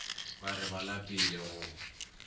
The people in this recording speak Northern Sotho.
ba re ba lapile go